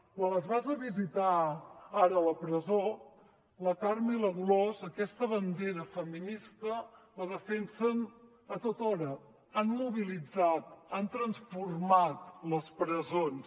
quan les vas a visitar ara a la presó la carme i la dolors aquesta bandera feminista la defensen a tothora han mobilitzat han transformat les presons